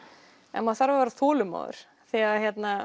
en maður þarf að vera þolinmóður því að